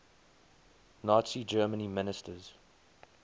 nazi germany ministers